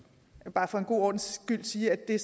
siger at